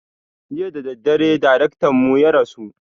Jiya dadadare darektan mu ya rasu